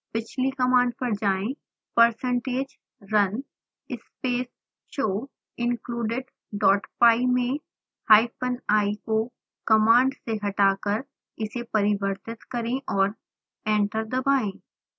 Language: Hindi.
पिछली कमांड पर जाएं